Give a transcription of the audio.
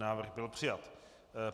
Návrh byl přijat.